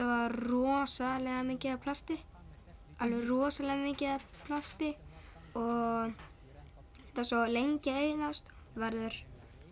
var rosalega mikið af plasti alveg rosalega mikið af plasti og það er svo lengi að eyðast verður